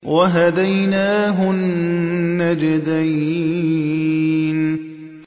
وَهَدَيْنَاهُ النَّجْدَيْنِ